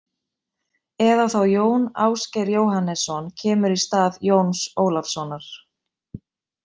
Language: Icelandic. Eða þá Jón Ásgeir Jóhannesson kemur í stað Jóns Ólafssonar.